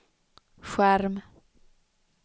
skärm